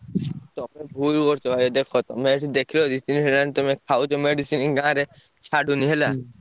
ତମେ ଭୁଲ କରୁଚ ଭାଇ ଦେଖ ତମେ ଏଠି ଦେଖିଲ ଯଦି ଠିକ୍ ହେଲାଣି ତମେ ଖାଉଚ medicine ଗାଁରେ ଛାଡ଼ୁନି ହେଲା।